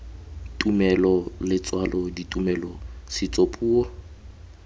tumelo letswalo ditumelo setso puo